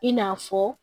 I n'a fɔ